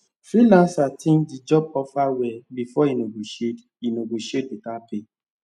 freelancer think the job offer well before e negotiate e negotiate better pay